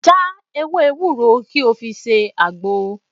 Já ewé ewúro kí o fi ṣe àgbo